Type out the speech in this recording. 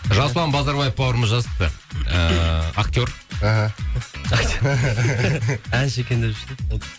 жасұлан базарбаев бауырымыз жазыпты ыыы актер әнші екен деп жүрсем